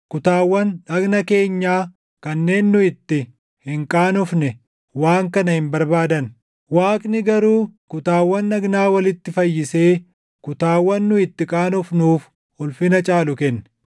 kutaawwan dhagna keenyaa kanneen nu itti hin qaanofne waan kana hin barbaadan. Waaqni garuu kutaawwan dhagnaa walitti fayyisee kutaawwan nu itti qaanofnuuf ulfina caalu kenne;